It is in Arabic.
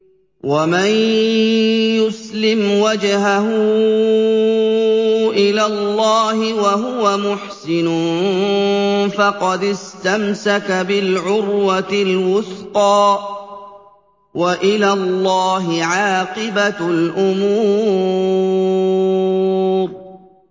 ۞ وَمَن يُسْلِمْ وَجْهَهُ إِلَى اللَّهِ وَهُوَ مُحْسِنٌ فَقَدِ اسْتَمْسَكَ بِالْعُرْوَةِ الْوُثْقَىٰ ۗ وَإِلَى اللَّهِ عَاقِبَةُ الْأُمُورِ